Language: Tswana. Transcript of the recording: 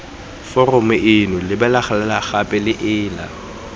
foromong eno lebelela gape ela